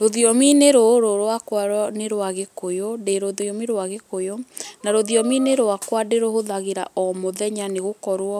Rũthiomi-inĩ rũrũ rwaka nĩ rwa gĩkũyũ, ndĩ rũthiomi rwa gĩkũyũ. Na rũthiomi rwaka ndĩrũhũthagĩra o mũthenya nĩ gũkorwo